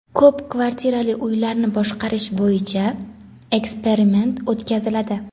Ko‘p kvartirali uylarni boshqarish bo‘yicha eksperiment o‘tkaziladi.